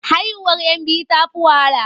Haihuwar 'yan biyu ta fi wahala.